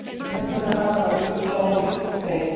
Neðan við hana var jökuláin lygn og breið